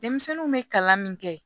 Denmisɛnninw bɛ kalan min kɛ